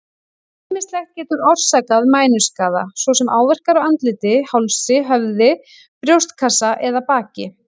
Ýmislegt getur orsakað mænuskaða, svo sem áverkar á andliti, hálsi, höfði, brjóstkassa eða baki.